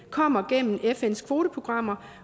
kommer igennem fns kvoteprogrammer